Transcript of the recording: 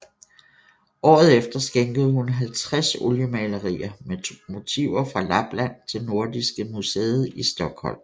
Året efter skænkede hun 50 oliemalerier med motiver fra Lapland til Nordiska Museet i Stockholm